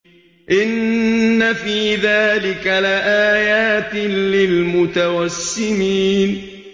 إِنَّ فِي ذَٰلِكَ لَآيَاتٍ لِّلْمُتَوَسِّمِينَ